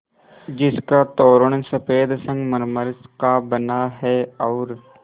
जिसका तोरण सफ़ेद संगमरमर का बना है और